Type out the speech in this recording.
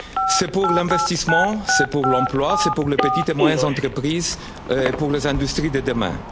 stratégie. C'est pour l'investissement, c'est pour l'emploi, c'est pour les petites et moyennes entreprises et pour les industries